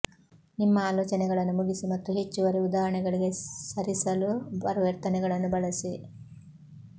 ನಿಮ್ಮ ಆಲೋಚನೆಗಳನ್ನು ಮುಗಿಸಿ ಮತ್ತು ಹೆಚ್ಚುವರಿ ಉದಾಹರಣೆಗಳಿಗೆ ಸರಿಸಲು ಪರಿವರ್ತನೆಗಳನ್ನು ಬಳಸಿ